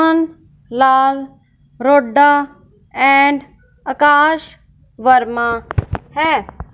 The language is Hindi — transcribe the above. लाल रोडा एंड आकाश वर्मा हैं।